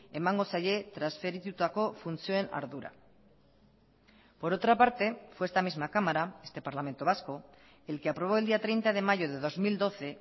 emango zaie transferitutako funtzioen ardura por otra parte fue esta misma cámara este parlamento vasco el que aprobó el día treinta de mayo de dos mil doce